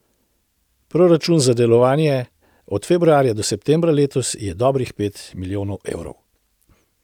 Proračun za delovanje od februarja do septembra letos je dobrih pet milijonov evrov.